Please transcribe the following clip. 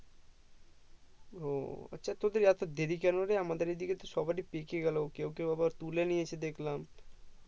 ও আচ্ছা তোদের এত দেরি কেনো রে আমাদের এদিকে সবারই পেকে গেলো কেও কেও আবার তুলে নিয়েছে দেখলাম